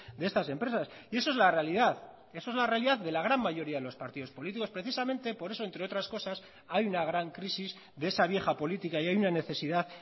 de estas empresas y eso es la realidad eso es la realidad de la gran mayoría de los partidos políticos precisamente por eso entre otras cosas hay una gran crisis de esa vieja política y hay una necesidad